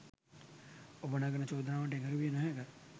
ඔබ නගන චෝදනාවට එකඟ විය නොහැක.